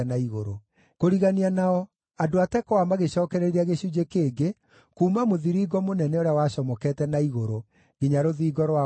Kũrigania nao, andũ a Tekoa magĩcookereria gĩcunjĩ kĩngĩ kuuma mũthiringo mũnene ũrĩa wacomokete na igũrũ nginya rũthingo rwa Ofeli.